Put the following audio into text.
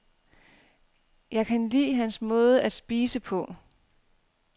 Jeg kan lide hans måde at spise på.